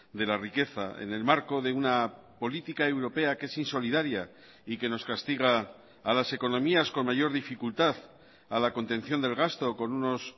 de la riqueza en el marco de una política europea que es insolidaria y que nos castiga a las economías con mayor dificultad a la contención del gasto con unos